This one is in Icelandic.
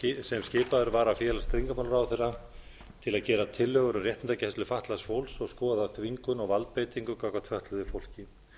sem skipaður var af félags og tryggingamálaráðherra til að gera tillögur um réttindagæslu fatlaðs fólks og skoða þvingun og valdbeitingu gagnvart fötluðu fólki